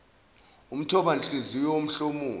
umthoba nhliziyo womhlomulo